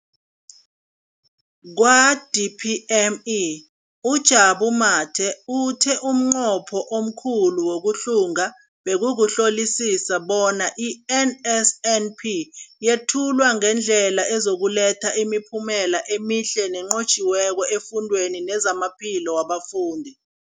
Kwa-DPME, uJabu Mathe, uthe umnqopho omkhulu wokuhlunga bekukuhlolisisa bona i-NSNP yethulwa ngendlela ezokuletha imiphumela emihle nenqotjhiweko efundweni nezamaphilo wabafundi.